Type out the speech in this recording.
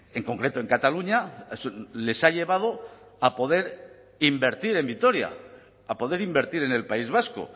en concreto en cataluña les ha llevado a poder invertir en vitoria a poder invertir en el país vasco